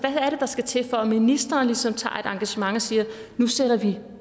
er der skal til for at ministeren ligesom tager et engagement og siger at nu sætter vi